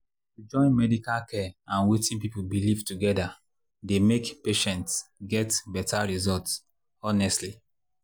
to join medical care and wetin people believe together dey make patients get better results honestly.